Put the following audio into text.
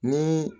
Ni